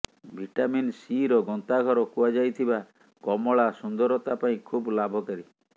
vitamin ସିର ଗନ୍ତାଘର କୁହାଯାଇଥିବା କମଳା ସୁନ୍ଦରତା ପାଇଁ ଖୁବ ଲାଭକାରୀ